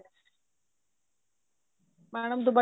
madam